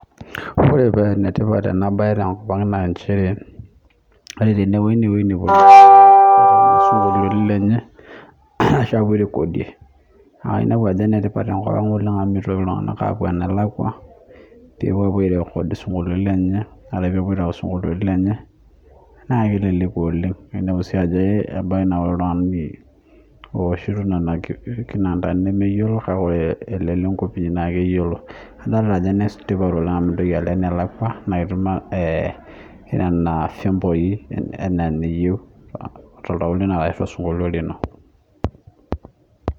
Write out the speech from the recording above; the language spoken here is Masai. Ore paa enetipat ena bae te nkop ang naa nchere, ore pee enewueji netii isinkoliotin lenye . Enetipat oleng amuu meitoki iltunganak aapo enelakua airekodie isinkoliotin lenye naa keleku oleng. Ebaiki sii naa ore ilo tungani ooshito nena kinantani neyiolo oleng. Imintoki alo enelakua naa itum nena vyomboi tenetaana ana eniyie to sinkolio lino